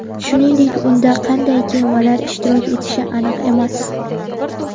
Shuningdek, unda qanday kemalar ishtirok etishi aniq emas.